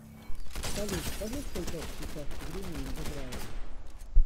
салют скажи сколько сейчас времени в израиле